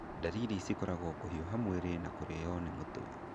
Ndariri cikoragwo kũhiũha mwĩrĩ na kũrĩyo nĩ mũtwe